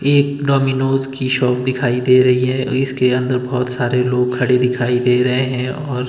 एक डोमिनोज की शॉप दिखाई दे रही है इसके अंदर बहोत सारे लोग खड़े दिखाई दे रहे हैं और--